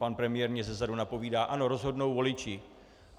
Pan premiér mně zezadu napovídá, ano, rozhodnou voliči.